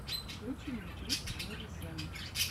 включи мне клип мэри сенн